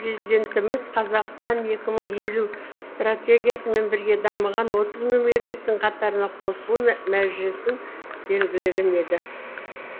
президентіміз қазақстан екі мың елу стратегиясымен бірге дамыған отыз мемлекеттің қатарына қосылу мәжесін белгілеген еді